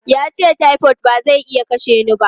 Ya ce, "typhoid ba zai iya kashe ni ba!".